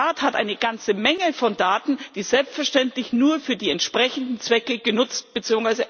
Der Staat hat eine ganze Menge von Daten, die selbstverständlich nur für die entsprechenden Zwecke genutzt bzw.